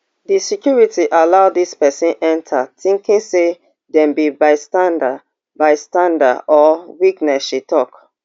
di security allow dis pesin enta tinking say dem be bystander bystander or witness she tok